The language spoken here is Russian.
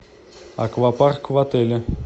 аквапарк в отеле